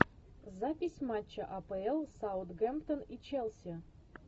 запись матча апл саутгемптон и челси